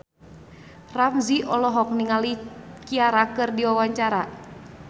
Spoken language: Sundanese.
Ramzy olohok ningali Ciara keur diwawancara